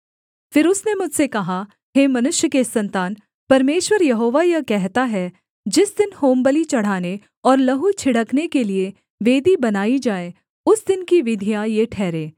फिर उसने मुझसे कहा हे मनुष्य के सन्तान परमेश्वर यहोवा यह कहता है जिस दिन होमबलि चढ़ाने और लहू छिड़कने के लिये वेदी बनाई जाए उस दिन की विधियाँ ये ठहरें